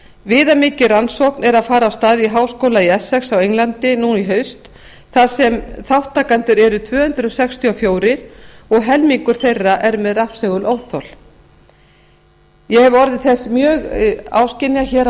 viðamikil rannsókn er að fara af stað í háskóla í essex á englandi nú í haust þar sem þátttakendur eru tvö hundruð sextíu og fjögur og helmingur þeirra með rafsegulóþol ég hef orðið þess mjög áskynja hér á